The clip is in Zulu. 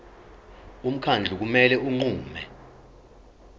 umkhandlu kumele unqume